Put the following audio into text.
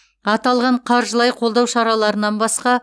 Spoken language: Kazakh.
аталған қаржылай қолдау шараларынан басқа